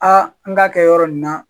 an k'a kɛ yɔrɔ in na.